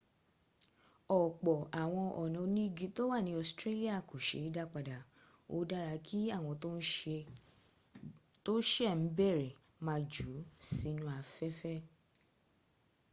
ọ̀pọ̀ àwọn ọnà onígi tó wà ní australia kò se é dá padà. ó dára kí àwọn tó sẹ̀ ń bẹ̀rẹ má jù ú sínú afẹ́fẹ́.̀